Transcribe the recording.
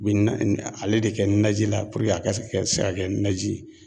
Bi na na ale de kɛ naji la a ka se ka se ka kɛ naji ye.